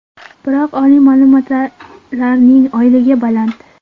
Biroq oliy ma’lumotlilarning oyligi baland.